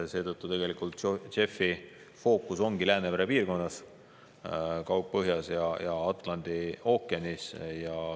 JEF-i fookus ongi Läänemere piirkonnal, Kaug-Põhjal ja Atlandi ookeanil.